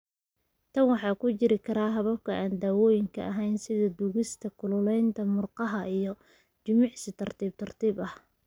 Tan waxa ku jiri kara hababka aan dawooyinka ahayn sida duugista, kululaynta murqaha, iyo jimicsi tartiib tartiib ah.